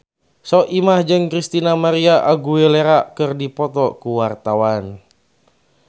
Soimah jeung Christina María Aguilera keur dipoto ku wartawan